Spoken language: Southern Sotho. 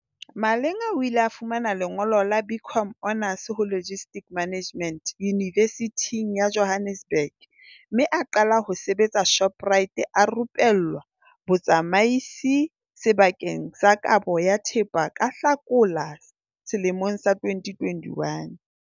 Malinga o ile a fumana lengolo la BCom Honours ho Logistics Management Yunivesithing ya Johannesburg mme a qala ho sebetsa Shoprite a rupellwa botsamaisi sebakeng sa kabo ya thepa ka Hlakola 2021.